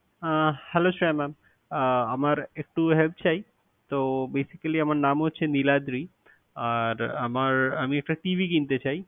আহ hello Shreya mam । Ah আমার একটু help চাই। তো basically আমার নাম হচ্ছে নীলাদ্রী। আর আমার আমি একটা TV কিনতে চাই।